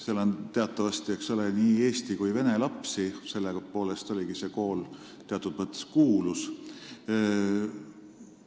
Seal on teatavasti nii eesti kui ka vene lapsi, mille poolest ongi see kool teatud mõttes kuulus olnud.